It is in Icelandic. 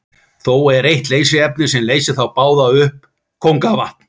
Þó er eitt leysiefni sem leysir þá báða upp, kóngavatn.